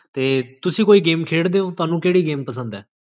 ਤੇ ਤੁਸੀਂ ਕੋਈ ਗੇਮ ਖੇਡਦੇ ਹੋ? ਤੁਹਾਨੂ ਕੇਹੜੀ ਗੇਮ ਪਸੰਦ ਹੈ?